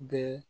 Bɛɛ